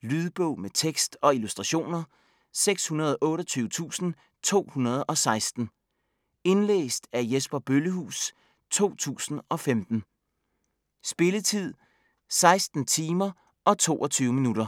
Lydbog med tekst og illustrationer 628216 Indlæst af Jesper Bøllehuus, 2015. Spilletid: 16 timer, 22 minutter.